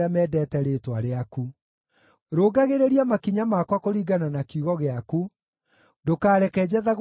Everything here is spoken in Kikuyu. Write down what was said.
Rũngagĩrĩria makinya makwa kũringana na kiugo gĩaku; ndũkareke njathagwo nĩ wĩhia o na ũrĩkũ.